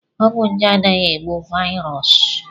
Ọgwụ nje anaghị egbu vaịrọs.